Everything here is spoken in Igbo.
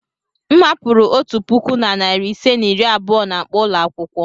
M hapụrụ otu puku na narị ise na iri abụọ na akpa ụlọ akwụkwọ.